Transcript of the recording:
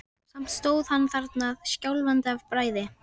Samt stóð hann þarna skjálfandi af bræði.